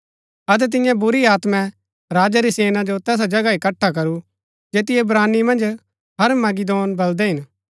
अतै तिन्ये बुरी आत्मै राजै री सेना जो तैसा जगह इकट्ठा करू जैतिओ इब्रानी मन्ज हरमगिदोन बलदै हिन